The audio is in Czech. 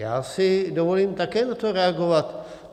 Já si dovolím také na to reagovat.